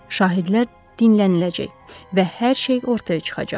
Şahidlər dinləniləcək və hər şey ortaya çıxacaq.